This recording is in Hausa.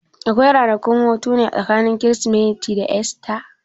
Akwai ranakun hutune tsakanin Kirsimeti da Esta?